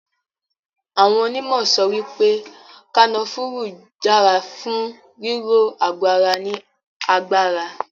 Awọ́n onímọ̀ sọ wípé kanafúrú dára fún ríró àgọ ara ní agbára.